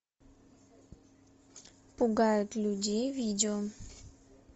пугает людей видео